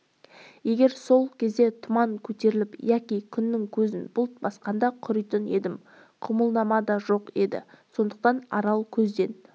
егер сол кезде тұман көтеріліп яки күннің көзін бұлт басқанда құритын едім құбылнама да жоқ еді сондықтан арал көзден